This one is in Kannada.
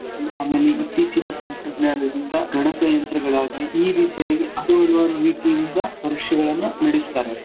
ಆಮೇಲೆ ಇತ್ತೀಚಿನ ತಂತ್ರಜ್ಞಾನದಿಂದ ಗಣಕಯಂತ್ರಗಳಾಗ್ಲಿ ಈ ರೀತಿಯಾಗಿ ಹತ್ತು ಹಲವಾರು ರೀತಿಯಿಂದ ಪರೀಕ್ಷೆಗಳನ್ನ ನಡಸ್ತಾರೆ.